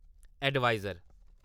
adviser